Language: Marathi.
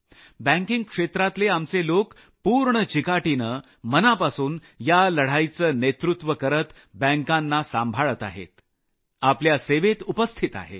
बँकिंग क्षेत्रातले आमचे लोक पूर्ण चिकाटीनं मनापासून या लढाईचं नेतृत्व करत बँकांना सांभाळत आहेत आपल्या सेवेत उपस्थित आहेत